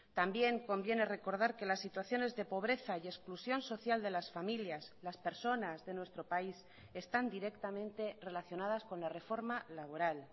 también conviene recordar que las situaciones de pobreza y exclusión social de las familias las personas de nuestro país están directamente relacionadas con la reforma laboral